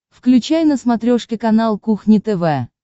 включай на смотрешке канал кухня тв